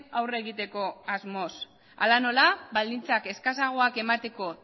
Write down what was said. aurre egiteko asmoz hala nola baldintzak eskasagoak emateko